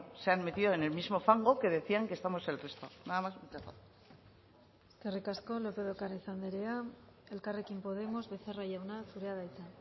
se han metido en el mismo fango que decían que estamos el resto nada más muchas gracias eskerrik asko lópez de ocariz andrea elkarrekin podemos becerra jauna zurea da hitza